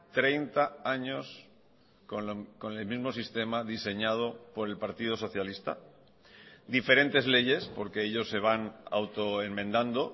treinta años con el mismo sistema diseñado por el partido socialista diferentes leyes porque ellos se van auto enmendando